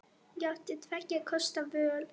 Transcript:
Ég átti tveggja kosta völ.